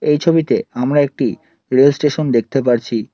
এই ছবিতে আমরা একটি রেল স্টেশন দেখতে পারছি।